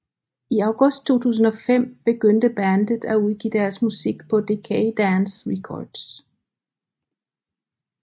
I august 2005 begyndte bandet at udgive deres musik på Decaydance Records